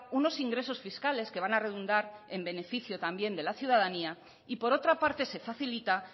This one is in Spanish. unos ingresos fiscales que van a redundar en beneficio también de la ciudadanía y por otra parte se facilita